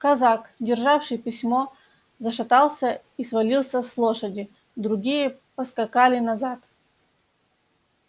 казак державший письмо зашатался и свалился с лошади другие поскакали назад